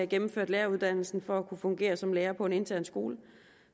gennemført læreruddannelsen for at kunne fungere som lærer på en intern skole